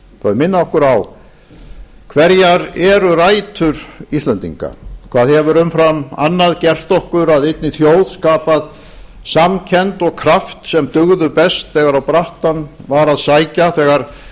minna okkur á hverjar rætur íslendinga eru hvað umfram annað hefur gert okkur að einni þjóð skapað samkennd og kraft sem dugðu best þegar á brattann var að sækja þegar